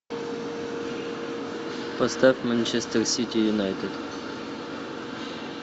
поставь манчестер сити юнайтед